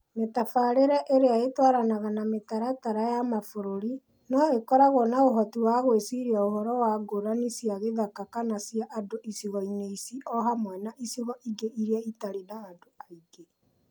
Mĩtabarĩre ĩrĩa ĩratwarana na mĩtaratara ya mabũrũri, no ĩkoragwo na ũhoti wa gwĩciria ũhoro wa ngũrani cia gĩthaka kana cia andũ icigo-inĩ ici o hamwe na icigo ingĩ iria itarĩ na andũ aingĩ.